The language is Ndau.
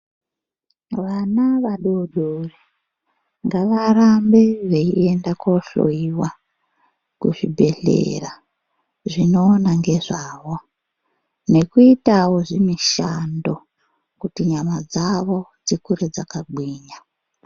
Vana vadodori ngavarambe veiende kuhloyiwa kuzvibhedhleya zvinoona ngezvavo nekuitawo zvimushando kuti nyama dzavo dzikure dzakagwinya.